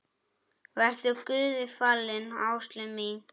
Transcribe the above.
Vertu Guði falin, Áslaug mín.